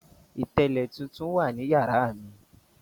Ìtẹ́lẹ̀ tuntun wa ní yàrá mi.